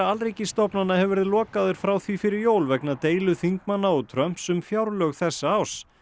alríkisstofnana hefur verið lokaður frá því fyrir jól vegna deilu þingmanna og Trumps um fjárlög þessa árs